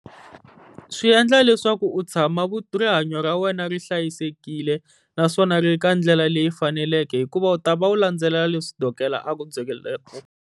Swi endla leswaku u tshama rihanyo ra wena ri hlayisekile, naswona ri ri ka ndlela leyi faneleke hikuva u ta va u landzelela leswi dokodela a ku